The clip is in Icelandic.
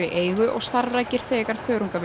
eigu og starfrækir þegar